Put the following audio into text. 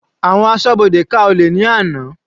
Àwọn ẹgbẹ́ asọ́bodè ká olè ní àná.